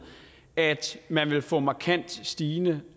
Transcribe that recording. at man vil få markant stigende